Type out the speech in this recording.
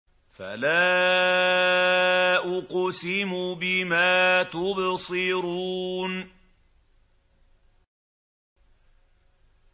فَلَا أُقْسِمُ بِمَا تُبْصِرُونَ